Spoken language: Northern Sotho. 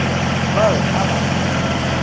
ba re a ba fe